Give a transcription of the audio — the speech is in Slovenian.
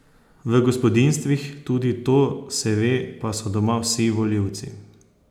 V gospodinjstvih, tudi to se ve, pa so doma vsi volilci.